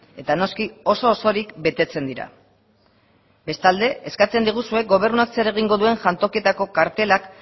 eta noski oso osorik betetzen dira bestalde eskatzen diguzue gobernuak zer egingo duen jantokitako kartelak